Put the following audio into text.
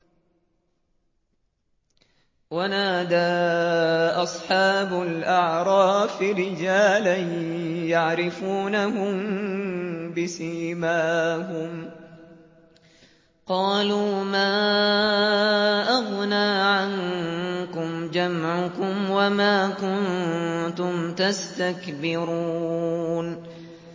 وَنَادَىٰ أَصْحَابُ الْأَعْرَافِ رِجَالًا يَعْرِفُونَهُم بِسِيمَاهُمْ قَالُوا مَا أَغْنَىٰ عَنكُمْ جَمْعُكُمْ وَمَا كُنتُمْ تَسْتَكْبِرُونَ